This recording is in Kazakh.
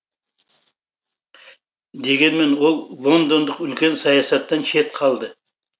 дегенмен ол лондондық үлкен саясаттан шет қалды